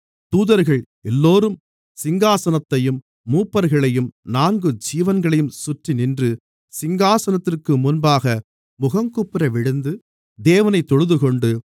தூதர்கள் எல்லோரும் சிங்காசனத்தையும் மூப்பர்களையும் நான்கு ஜீவன்களையும் சுற்றிநின்று சிங்காசனத்திற்கு முன்பாக முகங்குப்புற விழுந்து தேவனைத் தொழுதுகொண்டு